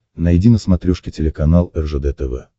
найди на смотрешке телеканал ржд тв